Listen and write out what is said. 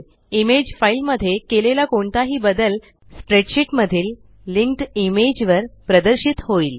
image file मध्ये केलेला कोणताही बदल स्प्रेडशीट मधील लिंक्ड इमेज वर प्रदर्शित होईल